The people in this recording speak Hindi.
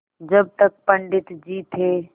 जब तक पंडित जी थे